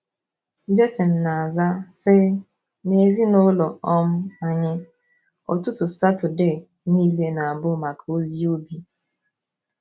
Jayson na - aza, sị: “ N’ezinụlọ um anyị, ụtụtụ Saturday nile na - abụ maka ozi ubi.